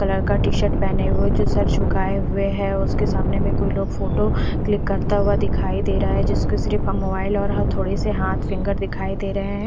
वो लड़का T shirt पहने हुए जो सर झुकाए हुए है उसके सामने में कोई लोग फोटो क्लिक करता हुआ दिखाई दे रहा है जिसके सिर्फ मोबाइल और ह थोड़े से हाथ फिंगर दिखाई दे रहे हैं।